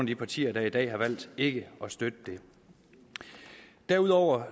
de partier der i dag har valgt ikke at støtte det derudover